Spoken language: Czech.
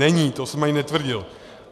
Není, to jsem ani netvrdil.